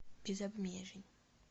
без обмежень